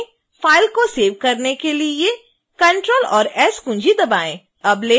file को save करने के लिए ctrl और s कुंजी दबाएं